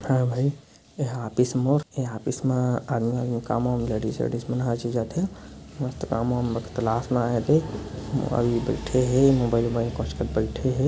अरे भई यह ऑफिस मोर ये ऑफिस मा लेडिज वेडिस मन हर चीज आथे मस्त काम वाम बाईठे हे मोबाईल मे कोचकत बाईठे हे।